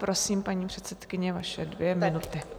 Prosím, paní předsedkyně, vaše dvě minuty.